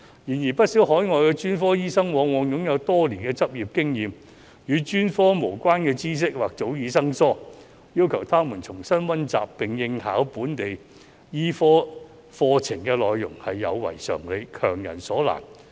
然而，不少海外專科醫生往往擁有多年執業經驗，但與專科無關的知識或早已生疏，要求他們重新溫習並應考本地醫科課程的內容是有違常理，強人所難。